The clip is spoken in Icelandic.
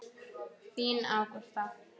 Þín Ágústa.